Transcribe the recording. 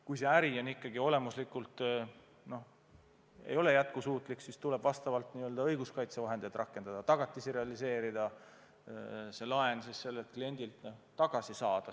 Kui äri olemuslikult ei ole jätkusuutlik, siis tuleb n-ö õiguskaitsevahendeid rakendada, tagatisi realiseerida, et laenuraha kliendilt tagasi saada.